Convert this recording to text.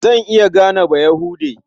Zan iya gane Bayahude.